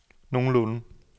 nogenlunde